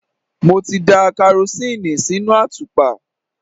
Mo ti da karosíìnì sínú àtùpà.